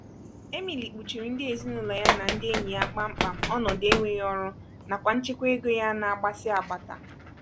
emily kpuchiiri ndị ezinụlọ ya na ndị enyi ya kpam kpam ọnọdụ enweghị ọrụ nakwa nchekwa ego ya na-agbasi agbata.